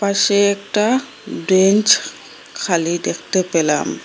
পাশে একটা ব্রেঞ্চ খালি দেখতে পেলাম।